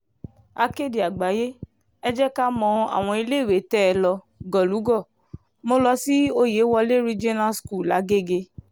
akéde àgbáyé ẹ jẹ́ ká mọ àwọn iléèwé tẹ̀ é lọ gọ̀lúgọ̀ mo lọ sí oyewole regional school lágége